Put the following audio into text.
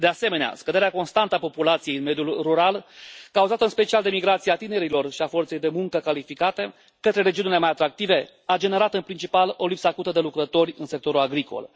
De asemenea, scăderea constantă a populației în mediul rural, cauzată în special de migrația tinerilor și a forței de muncă calificate către regiunile mai atractive, a generat în principal o lipsă acută de lucrători în sectorul agricol.